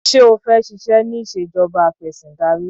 Ṣé o fẹ́ ṣiṣẹ́ ní ìṣèjọba afẹ̀sìndarí?